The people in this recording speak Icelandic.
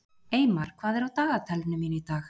Eymar, hvað er á dagatalinu mínu í dag?